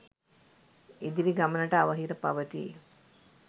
ඉදිරි ගමනට අවහිර පවතී.